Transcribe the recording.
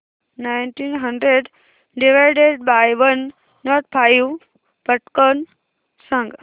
nineteen hundred divided by one nought five पटकन सांग